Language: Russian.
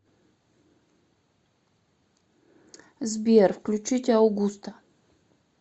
сбер включить аугуста